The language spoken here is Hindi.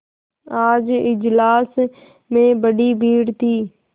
आज इजलास में बड़ी भीड़ थी